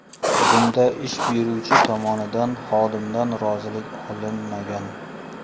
Bunda ish beruvchi tomonidan xodimdan rozilik olinmagan.